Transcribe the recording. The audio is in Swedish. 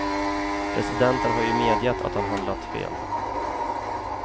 Presidenten har ju medgett att han handlat fel.